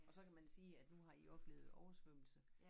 Og så kan man sige at nu har i oplevet oversvømmelse